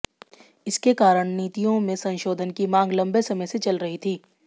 इसके कारण नीतियों में संशोधन की मांग लंबे समय से चल रही थी